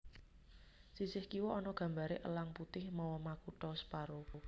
Sisih kiwa ana gambaré Elang Putih mawa makutha separo